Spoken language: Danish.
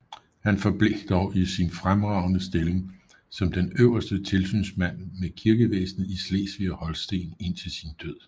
Han forblev dog i sin fremragende stilling som den øverste tilsynsmand med kirkevæsenet i Slesvig og Holsten indtil sin død